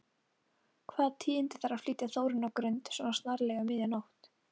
Hvaða tíðindi þarf að flytja Þórunni á Grund, svona snarlega, um miðja nótt?